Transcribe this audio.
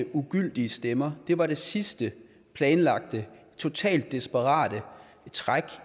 ugyldige stemmer var det sidste planlagte totalt desperate træk